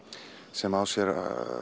sem á sér